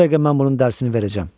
Bu dəqiqə mən bunun dərsini verəcəm!